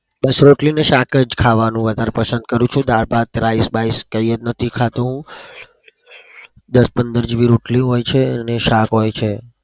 બસ રોટલી અને શાક જ ખાવાનું વધાર પસંદ કરું છું. દાળ ભાત rice બીકે એ નથી ખાતો હું. દસ પંદર જેવી રોટલી હોય છે અને શાક હોય છે.